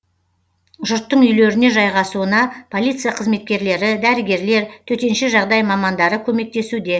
жұрттың үйлеріне жайғасуына полиция қызметкерлері дәрігерлер төтенше жағдай мамандары көмектесуде